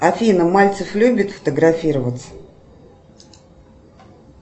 афина мальцев любит фотографироваться